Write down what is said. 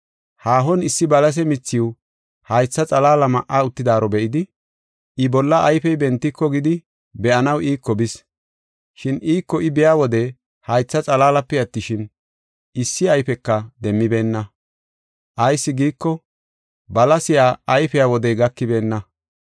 Haahon issi balase mithiw haytha xalaala ma7a uttidaaro be7idi, I bolla ayfey bentiko gidi, be7anaw iiko bis, shin iiko I biya wode, haytha xalaalape attishin, issi ayfeka demmibeenna; ayis giiko, balasey ayfiya wodey gakibeenna.